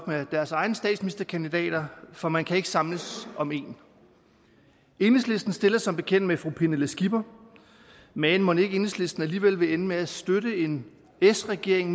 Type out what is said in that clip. med deres egne statsministerkandidater for man kan ikke samles om en enhedslisten stiller som bekendt med fru pernille skipper men mon ikke enhedslisten alligevel vil ende med at støtte en s regering